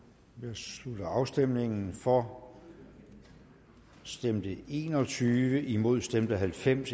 slutter afstemningen for stemte en og tyve imod stemte halvfems